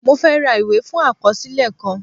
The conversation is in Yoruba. Mo fẹ́ ra ìwé fún àkọsílẹ̀ kan